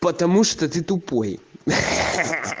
потому что ты тупой ха-ха